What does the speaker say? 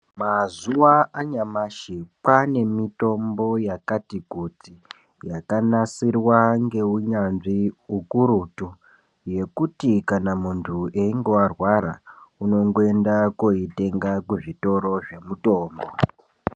Mazuwa anyamashi kwaane mitombo yakati kuti yakanasirwa ngeunyanzvi ukurutu yekuti kana munthu einge warwara unongoenda koitenga kuzvitoro zvemutombo.